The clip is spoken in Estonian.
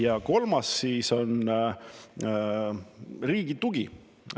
Ja kolmas on riigi tugi.